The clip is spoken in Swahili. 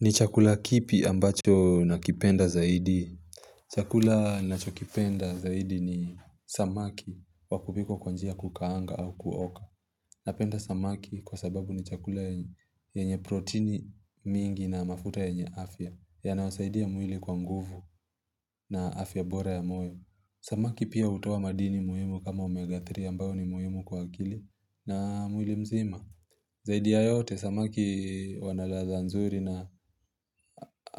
Ni chakula kipi ambacho nakipenda zaidi? Chakula ninachokipenda zaidi ni samaki wa kupikwa kwa njia ya kukaanga au kuoka Napenda samaki kwa sababu ni chakula yenye proteini mingi na mafuta yenye afya yanayosaidia mwili kwa nguvu na afya bora ya moyo Samaki pia hutoa madini muhimu kama omega 3 ambayo ni muhimu kwa akili na mwili mzima Zaidi ya yote, samaki wana ladha nzuri na